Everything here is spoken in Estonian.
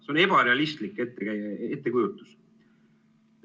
See on ebarealistlik ettekujutus.